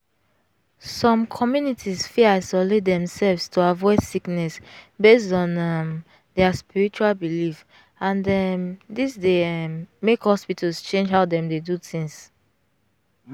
some communities fit isolate themselves to avoid sickness based on um their spiritual belief and um this dey um make hospitals change how dem dey do things.